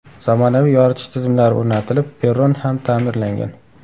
Zamonaviy yoritish tizimlari o‘rnatilib, perron ham ta’mirlangan.